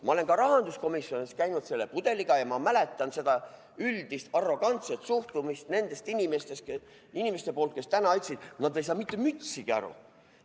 Ma olen ka rahanduskomisjonis käinud selle pudeliga ja ma mäletan seda üldist arrogantset suhtumist nendelt inimestelt, kes täna ütlesid, et nad ei saa mitte mütsigi aru.